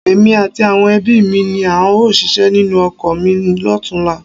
Èmi àti àwọn ẹbí mi ni a óò ṣíṣe nínú oko mi lọ́tunla